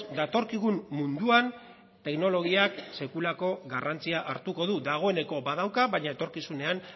datorkigun munduan teknologiak sekulako garrantzia hartuko du dagoeneko badauka baina etorkizunean